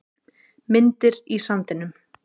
Myndir í sandinum